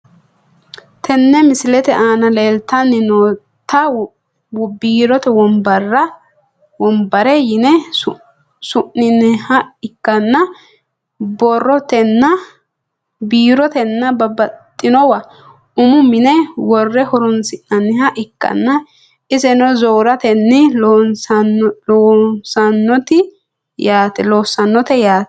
Tene misilete aana leeltani nootabiirote wonbare yine su`inaniha ikanna biirotena babaxinowa umu mine wore horonsinaniha ikanna iseno zoortani loosanote yaate.